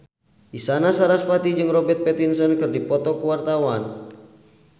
Isyana Sarasvati jeung Robert Pattinson keur dipoto ku wartawan